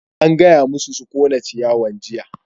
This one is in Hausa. An gaya masu su ƙona ciyawan jiya!